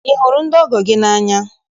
Ị hụrụ ndị ọgọ gị n'anya?